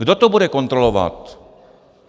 Kdo to bude kontrolovat?